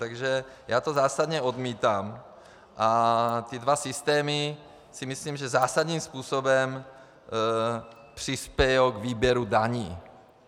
Takže já to zásadně odmítám a ty dva systémy si myslím, že zásadním způsobem přispějí k výběru daní.